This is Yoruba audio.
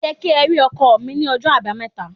Ó yẹ kí ẹ rí ọkọ́ mi ní ọjọ́ Àbámẹ́ta.